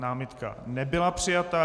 Námitka nebyla přijata.